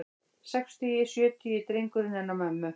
Sextugi, sjötugi drengurinn hennar mömmu.